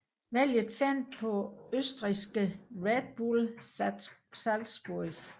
Valget faldt på østrigske Red Bull Salzburg